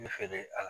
Ne feere a la